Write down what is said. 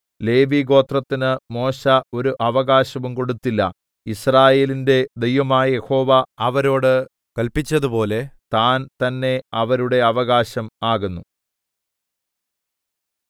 ലേവിഗോത്രത്തിന് മോശെ ഒരു അവകാശവും കൊടുത്തില്ല യിസ്രായേലിന്റെ ദൈവമായ യഹോവ അവരോട് കല്പിച്ചതുപോലെ താൻ തന്നേ അവരുടെ അവകാശം ആകുന്നു